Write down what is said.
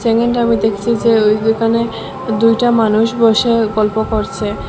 এখানটা আমি দেখছি যে ওই ওখানে দুইটা মানুষ বসে গল্প করসে।